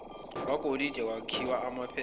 kwegolide nokwakhiwa kwephepha